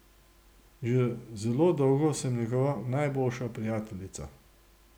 Že zelo dolgo sem njegova najboljša prijateljica.